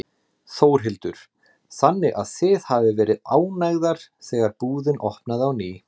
Þórhildur: Þannig að þið hafið verið ánægðar þegar búðin opnaði á ný?